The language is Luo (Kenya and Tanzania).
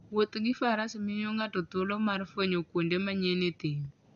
Wuoth gi faras miyo ng'ato thuolo mar fwenyo kuonde manyien e thim.